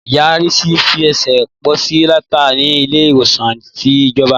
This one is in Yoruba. Ìyá Risi fẹ sẹ posi nàtá ni ìle iwosan ti ìjọ̀bá